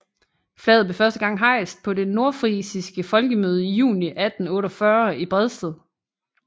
Flaget blev første gang hejst på det nordfrisiske folkemøde i juni 1848 i Bredsted